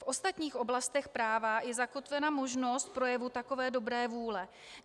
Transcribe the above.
V ostatních oblastech práva je zakotvena možnost projevu takové dobré vůle.